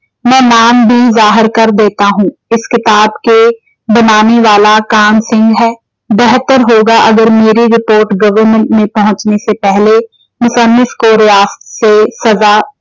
ਮੈਂ ਨਾਮਦੀਨ ਜ਼ਾਹਿਰ ਕਰ ਦੇਤਾ ਹੂੰ। ਇਸ ਕਿਤਾਬ ਕੇੋ ਬਣਾਨੇ ਵਾਲਾ ਕਾਹਨ ਸਿੰਘ ਹੈ। ਬਿਹਤਰ ਹੋਗਾ ਅਗਰ ਮੇਰੀ ਰਿਪੋਰਟ government ਮੇਂ ਪਹੁੰਚਣੇਂ ਸੇ ਪਹਿਲੇ ਕੋ ਰਿਆਸਤ ਸੇ ਸਜ਼ਾ।